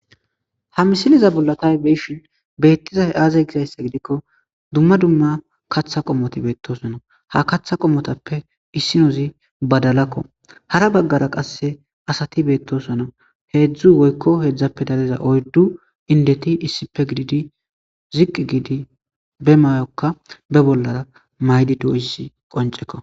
ha misiliza bolla tay be'ishin beettizay aaze gizayssa gidikko dumma dumma kaththa qomoti beettosonnau ha katha qomotappe issinozi badalakko hara baggara qasse asati beettosonnau heedzdzu woykko heedzdzappe daleza oyddu indeti issipe gididi ziqqi giidi be mayokka be bollara maydi doys qonceko